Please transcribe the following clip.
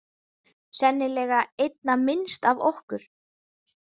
Sennilega einna minnst af okkur.